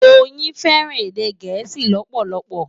Doyin fẹràn èdè Gẹẹsi lòpòlòpò.